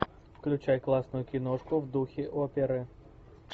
включай классную киношку в духе оперы